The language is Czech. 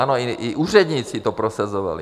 Ano, i úředníci to prosazovali.